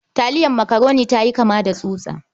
Taliyar makaroni ta yi kama da tsutsa.